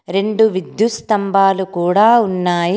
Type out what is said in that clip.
రెండు విద్యుత్ స్తంభాలు కూడా ఉన్నాయి.